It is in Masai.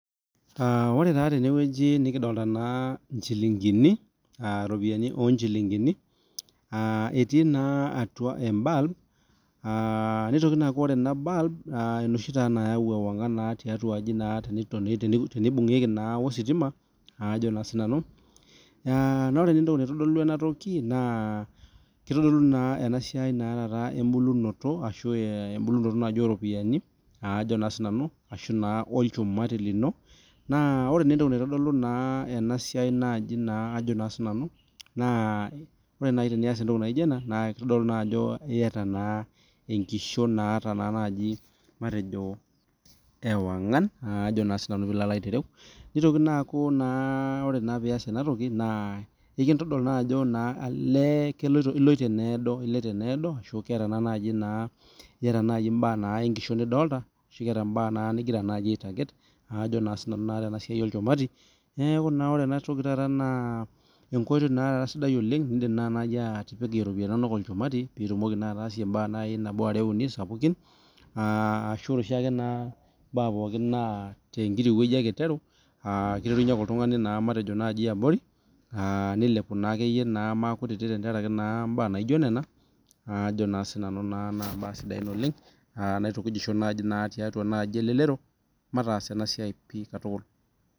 Ore taa tenewueji nikidolita eropiani oo njilingini etii naa atum ebulb ore ena bulb enoshi nayau ewang'an tiatua aji tenibungieki oo ositima naa ore naa entoki naitodulu ena naa ebulunoto oo ropiani ashu olchumati lino ore naaji tenias entoki naijio ena naa kitodolu Ajo eyata enkishon ashu ewang'an nitoki naa akuu ore pias ena toki naa kitodolu Ajo eloito enedoo ashu ketaa mbaa enkishon nifolita ashu keeta mbaa enkishon nigira aitaget tenasaiai olchumati ore naa enkoitoi sidai oleng nidim atipikie eropiani enono olchumati atasie mbaa are uni sapukin AA ore oshiake nkuti mbaa naa kiterunye oltung'ani abori nilepu aakeyi makutitik naa mbae sidai ena oleng naa kaidim aitukuja tiatua elelero matas ena mbae pii katukul